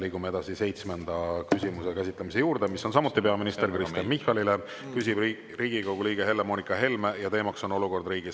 Liigume edasi seitsmenda küsimuse käsitlemise juurde, mis on samuti peaminister Kristen Michalile, küsib Riigikogu liige Helle-Moonika Helme ja teema on olukord riigis.